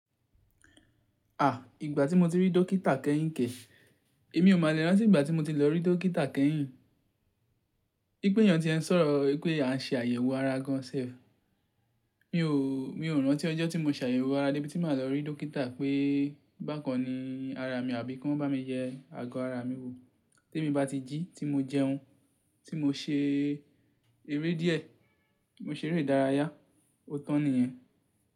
À, ìgbà tí mo ti rí dókítà kẹ́yìn kẹ̀, èmi ò má le rántí ìgbà tí mo ti lọ rí dókítà kẹ́yìn. Bí pe eeyan tí ẹ ń sọ̀rọ̀ wípé a ń ṣe àyẹ̀wò ara gan sef Mi ò, mi ò rántí ọjọ́ tí mo ṣàyẹwo ara débi tí màá lọ rí dókítà pé bákan ni ara mi àbí kí wọ́n bá mi yẹ ago ara mi wò. Tí èmi bá ti jí ti mo jẹun, tí mo ṣe eré díẹ̀, mo ṣe eré ìdárayá, ó tàn nìyẹn.